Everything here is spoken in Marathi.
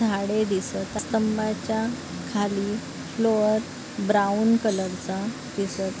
झाडे दिसत स्तंभाच्या खाली फ्लोर ब्राऊन कलरचा दिसत--